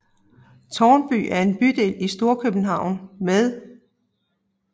Tårnby er en bydel i Storkøbenhavn med